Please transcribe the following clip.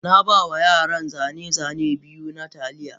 Na ba wa yaran zane-zane biyu na Taliya